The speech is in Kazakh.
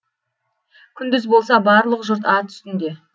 күндіз болса барлық жұрт ат үстінде